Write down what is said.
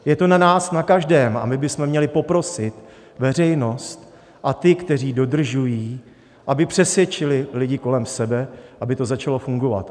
Je to na nás na každém a my bychom měli poprosit veřejnost a ty, kteří dodržují, aby přesvědčili lidi kolem sebe, aby to začalo fungovat.